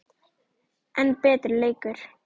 enn betri leikur.